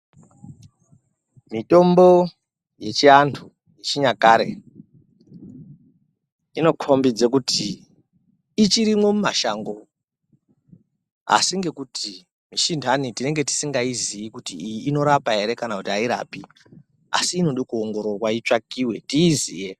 Mitombo yechiantu yechinyakare, inokhombidze kuti ichirimwo mumashango ,asi ngekuti mishi intani, tinenge tisingaiziyi kuti iyi inorapa ere kana kuti airapi ,asi inode kuongororwa itsvakiwe ,tiiziye.